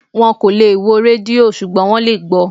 Wón kò lè wo rédíò ṣùgbọ́n gbọ